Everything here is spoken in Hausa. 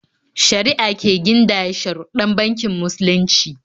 Shari'a ce gindaya sharuɗɗan bankin musulunci.